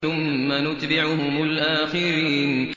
ثُمَّ نُتْبِعُهُمُ الْآخِرِينَ